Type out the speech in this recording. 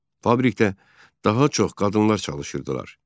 Fabrikdə daha çox qadınlar çalışırdılar.